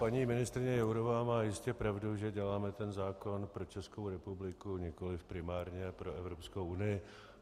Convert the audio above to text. Paní ministryně Jourová má jistě pravdu, že děláme ten zákon pro Českou republiku, nikoliv primárně pro Evropskou unii.